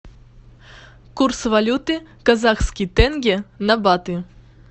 курс валюты казахский тенге на баты